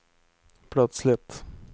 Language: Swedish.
plötsligt